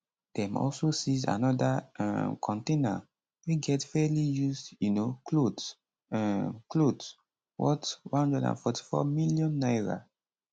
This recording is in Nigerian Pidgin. dem also seize anoda um container wey get fairly used um clothes um clothes worth n144 million